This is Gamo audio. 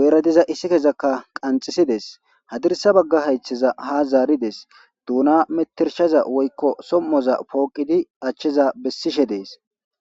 guyera diza isikezaka qanxisidesi, hadirsa baga haytheza ha zaaridesi, duna metetshaza woyko som'oza pooqidi acheza besi utidesi.